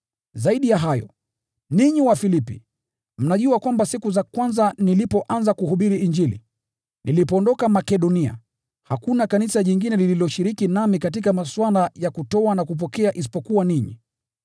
Zaidi ya hayo, ninyi Wafilipi mnajua kwamba siku za kwanza nilipoanza kuhubiri Injili, nilipoondoka Makedonia, hakuna kanisa jingine lililoshiriki nami katika masuala ya kutoa na kupokea isipokuwa ninyi.